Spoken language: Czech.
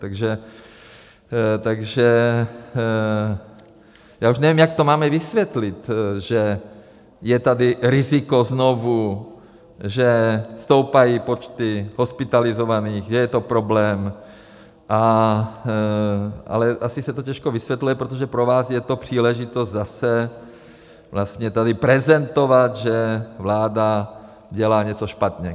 Takže já už nevím, jak to máme vysvětlit, že je tady riziko znovu, že stoupají počty hospitalizovaných, že je to problém, ale asi se to těžko vysvětluje, protože pro vás je to příležitost zase vlastně tady prezentovat, že vláda dělá něco špatně.